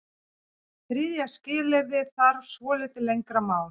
Þriðja skilyrðið þarf svolítið lengra mál.